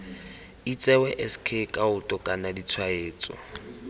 itsewe sk kaoto kana ditshwaetso